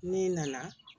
Ne nana